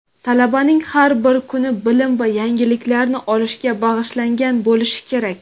Talabaning har bir kuni bilim va yangiliklarni olishga bag‘ishlangan bo‘lishi kerak.